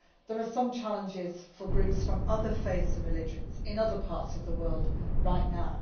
There are also challenges for groups from other faiths and religions in other parts of the world right now.